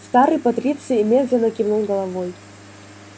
старый патриций медленно кивнул головой